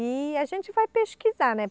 E a gente vai pesquisar, né?